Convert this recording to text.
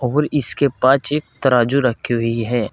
और इसके पाछ एक तराजू रखी हुई है।